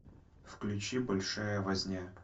включи большая возня